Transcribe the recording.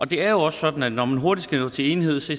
det er jo også sådan at når man hurtigt skal nå til enighed så